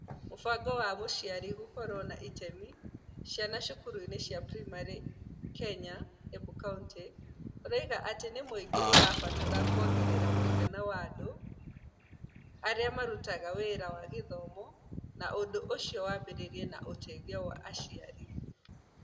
Mũbango wa Mũciari Gũkorũo na itemi Ciana Cukuru-inĩ cia Primary Kenya (Embu County) ũroiga atĩ mũingĩ nĩ ũrabatara kũongerera mũigana wa andũ arĩa marutaga wĩra wa gĩthomo na ũndũ ũcio wambĩrĩria na ũteithio wa aciari.